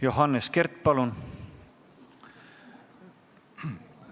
Johannes Kert, palun!